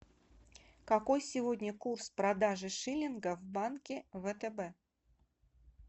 какой сегодня курс продажи шиллинга в банке втб